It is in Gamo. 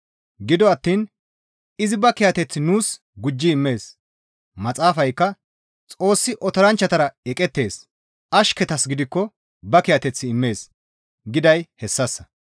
Gido attiin izi ba kiyateth nuus gujji immees; Maxaafaykka, «Xoossi otoranchchatara eqettees; ashketas gidikko ba kiyateth immees» giday hessassa.